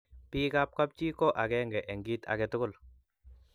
bik ab kap chii ko akenge eng kit akatugul